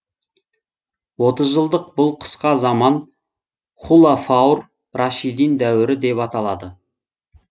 отыз жылдық бұл қысқа заман хулафаур рашидин дәуірі деп аталады